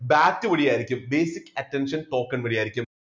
BAT വഴിയായിരിക്കും basic attention token വഴിയായിരിക്കും.